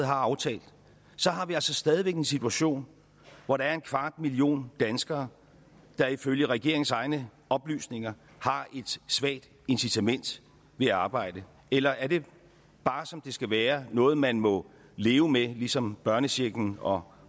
har aftalt har vi altså stadig væk en situation hvor der er en million danskere der ifølge regeringens egne oplysninger har et svagt incitament ved at arbejde eller er det bare som det skal være noget man må leve med ligesom børnechecken og